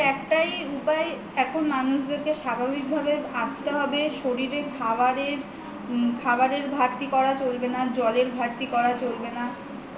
এর একটাই উপায় এখন মানুষকে স্বাভাবিক ভাবে আসতে হবে শরীরে খাবারের ঘাটতি করা চলবে না জলের ঘাটতি করা চলবে না